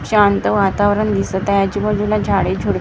शांत वातावरण दिसत आहे आजूबाजूला झाडे झुड--